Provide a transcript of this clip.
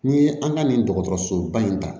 N'i ye an ka nin dɔgɔtɔrɔsoba in ta